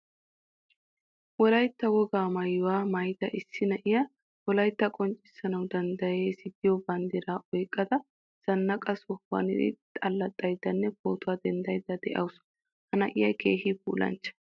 Wolaytta wogaa maayuwaa maayida issi na'iyaa wolaytta qonccisanawu danddayees giyo banddira oyqqasa zanaaqqa sohuwan allaxayddanne pootuwaa denddaydda de'awusu. Ha na'iyaa keehin puulanchcha.